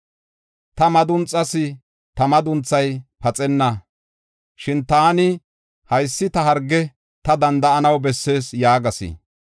Ta madunxas! Ta madunthay paxenna. Shin taani, “Haysi ta harge; ta danda7anaw bessees” yaagas.